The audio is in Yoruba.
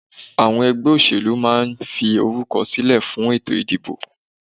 Àwọn ẹgbẹ́ òṣẹ̀lú máa ń fi orúkọ silẹ fún ètò ìdìbò